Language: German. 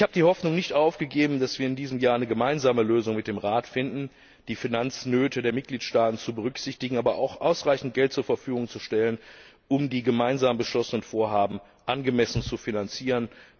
Ich habe die Hoffnung nicht aufgegeben, dass wir in diesem Jahr eine gemeinsame Lösung mit dem Rat finden, die Finanznöte der Mitgliedstaaten zu berücksichtigen, aber auch ausreichend Geld zur Verfügung zu stellen, um die gemeinsam beschlossenen Vorhaben angemessen zu finanzieren.